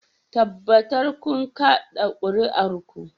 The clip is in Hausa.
Tabbatar kun kada kuri'ar ku